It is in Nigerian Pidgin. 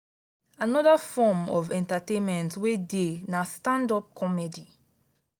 another form of entertainment wey dey na stand up comedy.